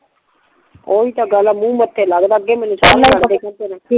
ਓ ਹੀ ਤਾਂ ਗੱਲ ਮੁਹ ਮੱਥੇ ਲੱਗਦਾ ਅੱਗੇ ਮੈਂਨੂ